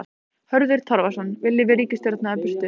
Hörður Torfason: Viljum við ríkisstjórnina burt?